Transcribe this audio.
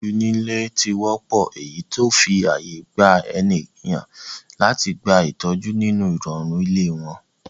Iṣẹ́ ìtọ́jú nílé ti wọ́pọ́, eyí tó ń fi ààyè gba ènìyàn láti gba ìtọ́jú nínú ìrọ̀rùn ilé wọn.